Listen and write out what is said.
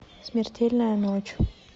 смертельная ночь